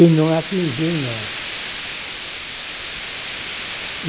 E não atingiu em nós.